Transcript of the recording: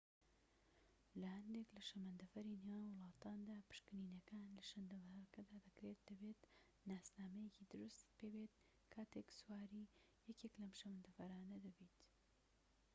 لە هەندێك لە شەمەندەفەری نێوان وڵاتاندا پشکنینەکان لە شەمەندەفەرەکدا دەکرێت و دەبێت ناسنامەیەکی دروستت پێبێت کاتێك سواری یەکێك لەم شەمەندەفەرانە دەبیت